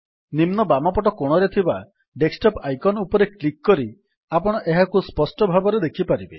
ନିମ୍ନ ବାମ ପଟ କୋଣରେ ଥିବା ଡେସ୍କଟପ୍ ଆଇକନ୍ ଉପରେ କ୍ଲିକ୍ କରି ଆପଣ ଏହାକୁ ସ୍ପଷ୍ଟ ଭାବରେ ଦେଖିପାରିବେ